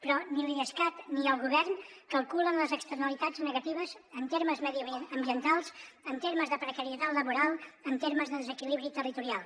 però ni l’idescat ni el govern calculen les externalitats negatives en termes mediambientals en termes de precarietat laboral en termes de desequilibri territorial